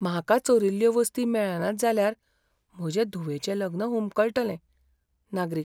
म्हाका चोरिल्ल्यो वस्ती मेळनात जाल्यार, म्हजें धुवेचें लग्न हुमकळटलें. नागरीक